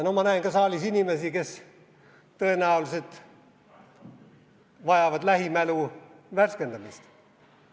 Ma näen saalis ka inimesi, kes tõenäoliselt vajavad lähimälu värskendamist.